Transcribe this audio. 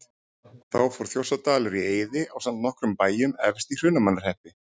Þá fór Þjórsárdalur í eyði ásamt nokkrum bæjum efst í Hrunamannahreppi.